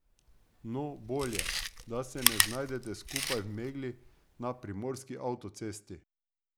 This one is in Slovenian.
No, bolje, da se ne znajdete skupaj v megli na primorski avtocesti!